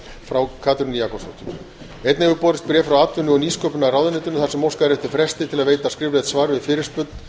frá katrínu jakobsdóttur einnig hefur borist bréf frá atvinnuvega og nýsköpunarráðuneytinu þar sem óskað er eftir fresti til að veita skriflegt svar við fyrirspurn